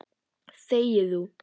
Þegi þú!